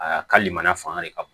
Aa hali mana fanga de ka bon